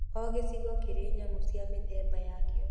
O gĩcigo kĩrĩ nyamũ cia mĩthemba yakĩo.